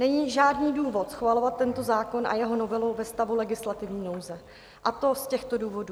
Není žádný důvod schvalovat tento zákon a jeho novelu ve stavu legislativní nouze, a to z těchto důvodů.